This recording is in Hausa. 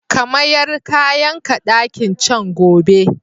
Ka mayar kayanka ɗakin can gobe!